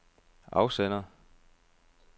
afsender